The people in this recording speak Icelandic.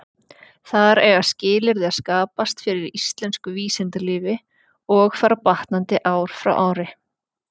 Þar eiga skilyrði að skapast fyrir íslensku vísindalífi, og fara batnandi ár frá ári.